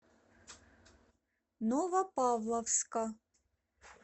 новопавловска